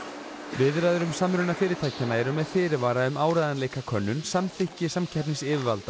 viðræður um samruna fyrirtækjanna eru með fyrirvara um áreiðanleikakönnun samþykki samkeppnisyfirvalda